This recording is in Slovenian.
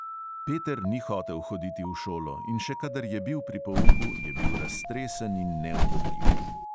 Peter ni hotel hoditi v šolo, in še kadar je bil pri pouku, je bil raztresen in neubogljiv.